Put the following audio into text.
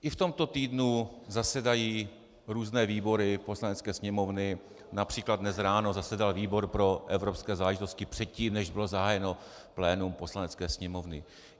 I v tomto týdnu zasedají různé výbory Poslanecké sněmovny, například dnes ráno zasedal výbor pro evropské záležitosti předtím, než bylo zahájeno plénum Poslanecké sněmovny.